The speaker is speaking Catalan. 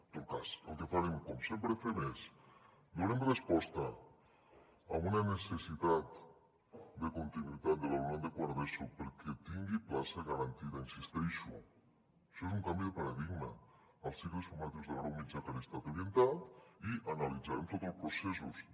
en tot cas el que farem com sempre fem és donem resposta a una necessitat de continuïtat de l’alumnat de quart d’eso perquè tingui plaça garantida hi insisteixo això és un canvi de paradigma als cicles formatius de grau mitjà a què hagi estat orientat i analitzarem tots el processos de